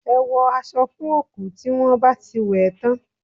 Ẹ wọ aṣọ fún òkú tí wọ́n bá ti wẹ̀ ẹ́ tán